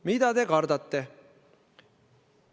Mida te kardate?